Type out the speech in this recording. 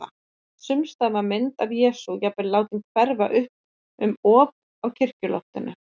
Sums staðar var mynd af Jesú jafnvel látin hverfa upp um op á kirkjuloftinu.